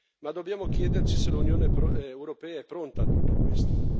Ma dobbiamo chiederci se l'Unione europea è pronta a tutto questo.